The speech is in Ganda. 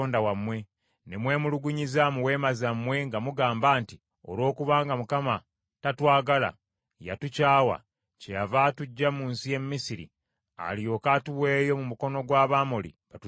Ne mwemulugunyiriza mu weema zammwe nga mugamba nti, ‘Olwokubanga Mukama tatwagala, yatukyawa, kyeyava atuggya mu nsi y’e Misiri alyoke atuweeyo mu mukono gw’Abamoli batuzikirize.